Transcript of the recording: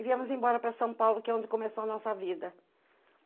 E viemos embora para São Paulo, que é onde começou a nossa vida.